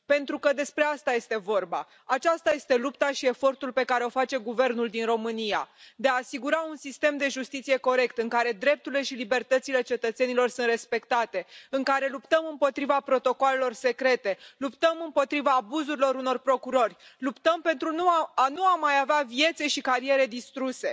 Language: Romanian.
Pentru că despre asta este vorba, aceasta este lupta și efortul pe care îl face guvernul din România, de a asigura un sistem de justiție corect, în care drepturile și libertățile cetățenilor sunt respectate, în care luptăm împotriva protocoalelor secrete, luptăm împotriva abuzurilor unor procurori, luptăm pentru a nu mai avea vieți și cariere distruse.